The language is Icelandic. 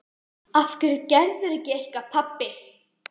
Af hverju gerirðu ekki eitthvað, pabbi?